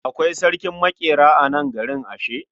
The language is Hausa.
Akwai sarkin maƙera a nan garin ashe?